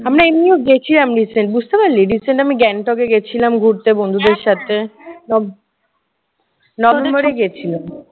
আমরা এমনিও গেছিলাম recent বুঝতে পারলি? recent আমি গ্যাংটকে গেছিলাম ঘুরতে বন্ধুদের সাথে। নভ নভেম্বরে গিয়েছিলাম।